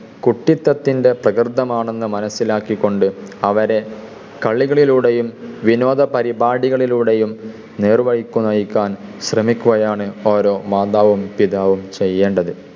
കുട്ടിത്തത്തിൻ്റെ പ്രകൃതമാണെന്ന് മനസിലാക്കികൊണ്ട് അവരെ കളികളിലൂടെയും, വിനോദ പരിപാടികളിലൂടെയും നേർവഴിക്ക് നയിക്കാൻ ശ്രമിക്കുകയാണ് ഓരോ മാതാവും പിതാവും ചെയ്യേണ്ടത്.